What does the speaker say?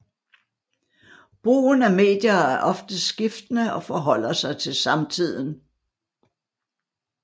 Brugen af medier er ofte skiftende og forholder sig til samtiden